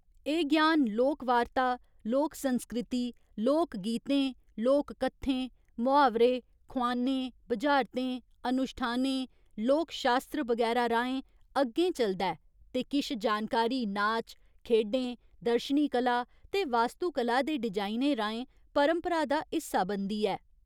एह् ज्ञान लोकवार्ता, लोक संस्कृति, लोक गीतें, लोक कत्थें, मुहावरे, खोआनें, बुझारतें, अनुश्ठानें, लोक शास्त्र बगैरा राहें अग्गें चलदा ऐ ते किश जानकारी नाच, खेढें, दर्शनी कला ते वास्तुकला दे डिजाइनें राहें परंपरा दा हिस्सा बनदी ऐ।